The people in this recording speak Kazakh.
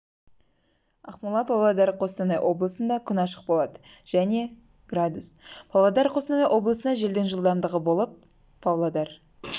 ақмола павлодар қостанай облысында күн ашық болады және градус павлодар қостанай облысында желдің жылдамдығы болып павлодар